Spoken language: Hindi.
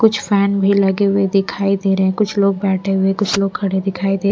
कुछ फैन भी लगे हुए दिखाई दे रहे हैं कुछ लोग बैठे हुए कुछ लोग खड़े दिखाई दे--